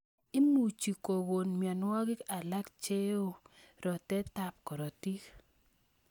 Imuchi kokon myonwogik alak cheo rotetab korotik